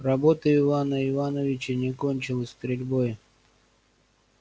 работа ивана ивановича не кончилась стрельбой